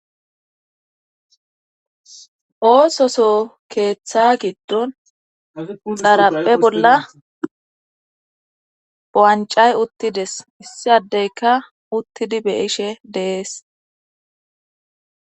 Oososo keeththa giddon xarappe bolla bo7ancay uttides issiadeyka uttidi beishe deees.